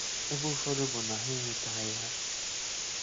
Ebe ụfọdụ bụ na ha enwetaghị ha.